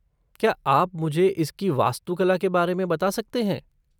क्या आप मुझे इसकी वास्तुकला के बारे में बता सकते हैं?